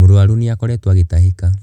Mũrũaru nĩ akoretwo agĩtahĩka.